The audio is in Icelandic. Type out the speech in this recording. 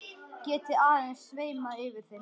Geti aðeins sveimað yfir þeim.